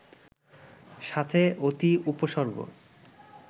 সাথে অতি উপসর্গ